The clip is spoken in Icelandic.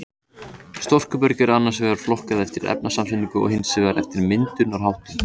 Storkuberg er annars vegar flokkað eftir efnasamsetningu og hins vegar eftir myndunarháttum.